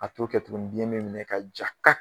A t'o kɛ tuguni biɲɛ bɛ minɛ ka kɛ ka